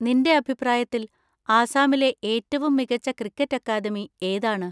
നിൻ്റെ അഭിപ്രായത്തിൽ ആസാമിലെ ഏറ്റവും മികച്ച ക്രിക്കറ്റ് അക്കാദമി ഏതാണ്?